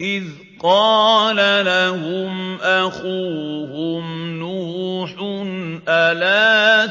إِذْ قَالَ لَهُمْ أَخُوهُمْ نُوحٌ أَلَا